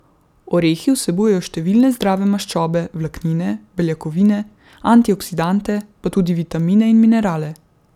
Orehi vsebujejo številne zdrave maščobe, vlaknine, beljakovine, antioksidante pa tudi vitamine in minerale.